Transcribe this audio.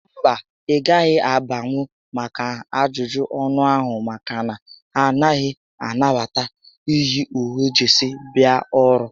Mba, ị gaghị abanwu maka ajụjụ ọnụ ahụ maka na ha anaghị anabata iyi uwe jesii abịa ọrụ